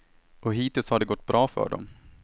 Och hittills har det gått bra för dem.